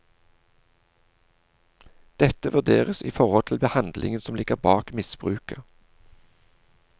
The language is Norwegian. Dette vurderes i forhold til handlingen som ligger bak misbruket.